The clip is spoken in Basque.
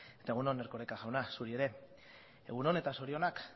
eta egun on erkoreka jauna zuri ere egun on eta zorionak